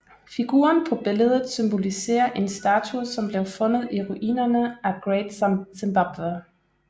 Figuren på billedet symboliserer en statue som blev fundet i ruinerne af Great Zimbabwe